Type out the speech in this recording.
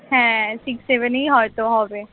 হ্যাঁ six seven এই হয়ত হবে